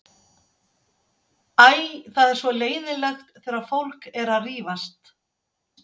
Æ, það er svo leiðinlegt þegar fólk er að rífast.